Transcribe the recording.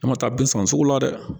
An ma taa bin sɔrɔ sugu la dɛ